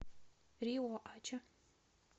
риоача